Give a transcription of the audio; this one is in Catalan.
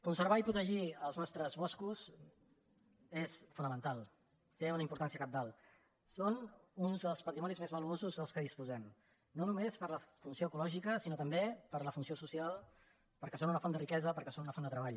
conservar i protegir els nostres boscos és fonamen·tal té una importància cabdal són un dels patrimonis més valuosos de què disposem no només per la fun·ció ecològica sinó també per la funció social perquè són una font de riquesa perquè són una font de treball